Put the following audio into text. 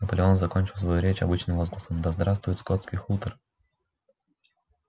наполеон закончил свою речь обычным возгласом да здравствует скотский хутор